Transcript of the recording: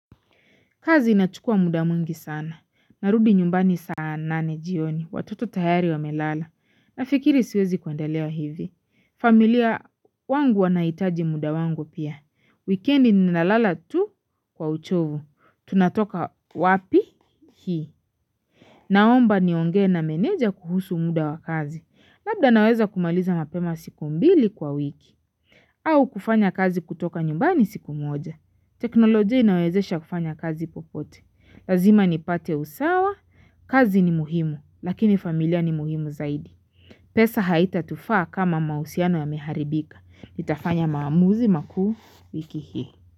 Kazi inachukua muda mwingi sana. Narudi nyumbani saa nane jioni. Watoto tayari wamelala. Nafikiri siwezi kwendelea hivi. Familia wangu wanaitaji muda wangu pia. Weekend ni nalala tu kwa uchovu. Tunatoka wapi hii. Naomba nionge na meneja kuhusu muda wa kazi. Labda naweza kumaliza mapema siku mbili kwa wiki. Au kufanya kazi kutoka nyumbani siku moja. Teknolojia inawezesha kufanya kazi popote. Lazima nipate usawa, kazi ni muhimu, lakini familia ni muhimu zaidi. Pesa haitatufa kama mausiano yameharibika. Nitafanya maamuzi maku wiki hii.